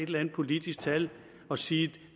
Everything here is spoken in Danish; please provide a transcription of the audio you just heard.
eller andet politisk tal og sige at